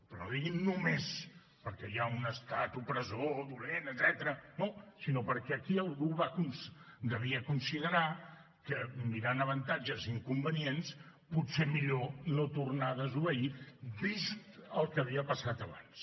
però no diguin només perquè hi ha un estat opressor dolent etcètera no sinó perquè aquí algú devia considerar que mirant avantatges i inconvenients potser millor no tornar a desobeir vist el que havia passat abans